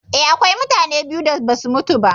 Eh, akwai mutane biyu da basu mutu ba.